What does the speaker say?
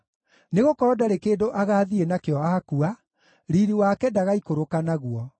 nĩgũkorwo ndarĩ kĩndũ agaathiĩ nakĩo akua, riiri wake ndagaikũrũka naguo.